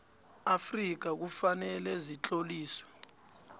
afrika kufanele zitloliswe